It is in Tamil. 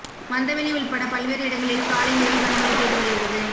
மந்தவெளி உள்பட பல்வேறு இடங்களில் காலை முதல் கனமழை பெய்து வருகிறது